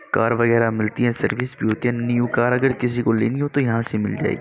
Car वगैरा मिलती है सर्विस न्यू कार अगर किसी को लेनी हो तो यहाँ से मिल जाएगी।